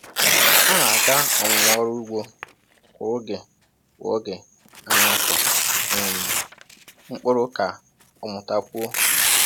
Ọ na-aga ọmụmụ ọrụ ugbo kwa oge kwa oge a na-akọ um mkpụrụ ka o mụtakwuo.